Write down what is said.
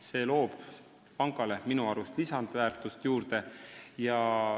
Minu arust annab see pangale lisaväärtust juurde.